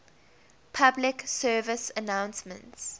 public service announcements